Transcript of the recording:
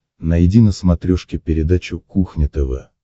найди на смотрешке передачу кухня тв